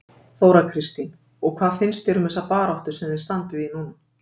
Þóra Kristín: Og hvað finnst þér um þessa baráttu sem þið standið í núna?